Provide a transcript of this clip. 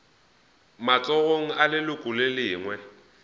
matsogong a leloko le lengwe